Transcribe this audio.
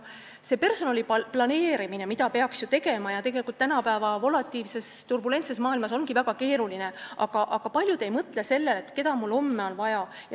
Personali planeerimist peaks ju tegema, tänapäeva volatiilses ja turbulentses maailmas on see küll väga keeruline, aga paljud ei mõtle sellele, keda neil on homme vaja.